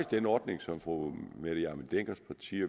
den ordning som fru mette hjermind denckers parti